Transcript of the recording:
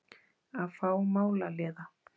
Að fá málaliða!